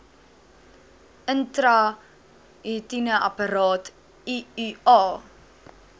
intrauteriene apparaat iua